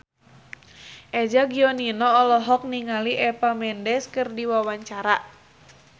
Eza Gionino olohok ningali Eva Mendes keur diwawancara